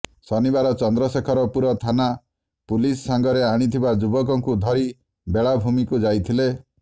ଶନିବାର ଚନ୍ଦ୍ରଶେଖରପୁର ଥାନା ପୁଲିସ ସାଙ୍ଗରେ ଆଣିଥିବା ଯୁବକକୁ ଧରି ବେଳାଭୂମିକୁ ଯାଇଥିଲେ